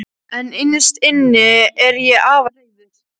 En innst inni er ég afar reiður.